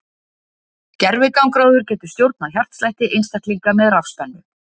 gervigangráður getur stjórnað hjartslætti einstaklinga með rafspennu